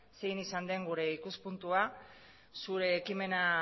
zein izan den gure ikuspuntua zure ekimena